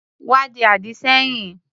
Wá di àdì sẹ́yìn.